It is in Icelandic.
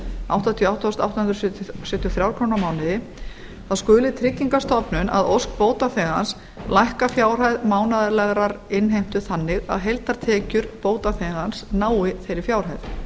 áttatíu og átta þúsund átta hundruð sjötíu og þrjár krónur á mánuði þá skuli tryggingastofnun að ósk bótaþegans lækka fjárhæð mánaðarlegrar innheimtu þannig að heildartekjur bótaþegans nái þeirri fjárhæð